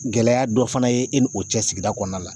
Gɛlɛya dɔ fana ye e ni o cɛ sigida kɔnɔna la